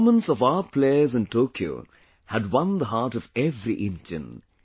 The performance of our players in Tokyo had won the heart of every Indian